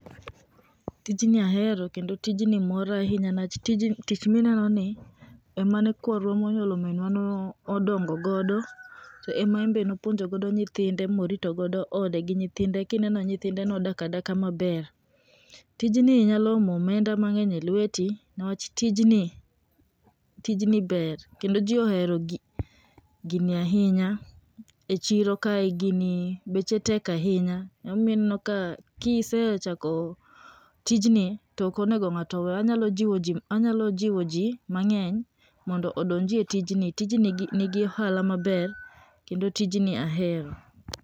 tijni ahero kendo tijni mora ahinya nikech tich mineno ni emane kwarwa monyuolo minwa ne odongo godo, to ema en bedne nopuonjo godo nyithinde morito godo ode gi nyithinde kineno nyithinde nodak adaka maber. tijni nyalo omo omenda mang'eny e lweti ni wach tijni, tijni ber kendo ji ohero gini ahinya e chiro kare gini beche tek ahinya emomiyo ineno kisechako tijni to ok onego ngato we ,anyalo jiwo ji mondo odonjie tijni ,tijni ni gi ohala maber kendo tijni ahero.